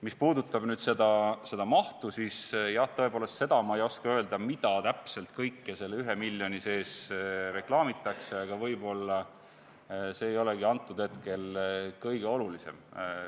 Mis puudutab mahtu, siis jah, tõepoolest, seda ma ei oska öelda, mida täpselt kõike selle 1 miljoni eest reklaamitakse, aga võib-olla see ei olegi hetkel kõige olulisem.